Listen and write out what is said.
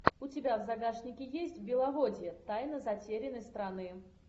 у тебя в загашнике есть беловодье тайна затерянной страны